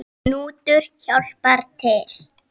Knútur hjálpar til.